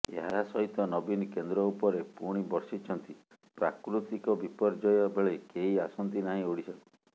ଏହାସହିତ ନବୀନ କେନ୍ଦ୍ର ଉପରେ ପୁଣି ବର୍ଷିଛନ୍ତି ପ୍ରାକୃତିକ ବିପର୍ୟ୍ୟୟ ବେଳେ କେହି ଆସନ୍ତି ନାହିଁ ଓଡ଼ିଶାକୁ